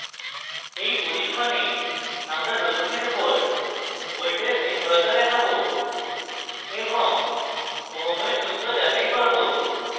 in পরীক্ষণে আমরা রোধকের উপর voltage নির্ভরতা দেখাবো এবং ওহমের সূত্র যাচাই করব